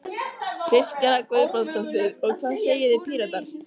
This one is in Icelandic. Kristjana Guðbrandsdóttir: Og hvað segið þið Píratar?